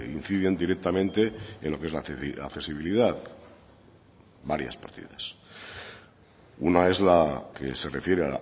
inciden directamente en lo que es la accesibilidad varias partidas una es la que se refiere